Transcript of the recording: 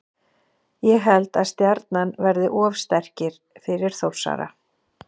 Ég held að Stjarnan verði of sterkir fyrir Þórsara.